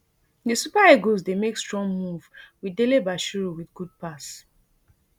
di super eagles dey make strong move wit delebashiru wit good pass